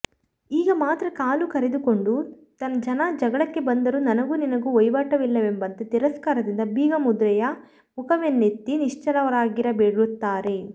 ಈಗ ಮಾತ್ರ ಕಾಲು ಕೆರೆದುಕೊಂಡು ಜನ ಜಗಳಕ್ಕೆ ಬಂದರೂ ನನಗೂ ನಿನಗೂ ವೈವಾಟಿಲ್ಲವೆಂಬಂತೆ ತಿರಸ್ಕಾರದಿಂದ ಬೀಗ ಮುದ್ರೆಯ ಮುಖವೆನ್ನೆತ್ತಿ ನಿಶ್ಚಲರಾಗಿಬಿಡುತ್ತಾರೆ